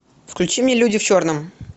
включи мне люди в черном